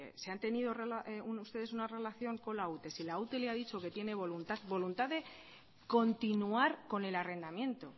si han tenido ustedes una relación con la ute si la ute les ha dicho que tiene voluntad de continuar con el arrendamiento